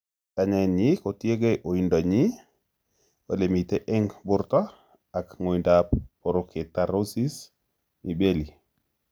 Kanyaet nyi kotiegei oindo nyi, olr mitei eng' borto ak ng'oindap porokeratosis of mibelli